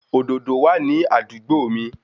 Òdòdó wà ní àdúgbò mi